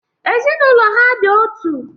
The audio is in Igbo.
Ezinaụlọ ha dị otu.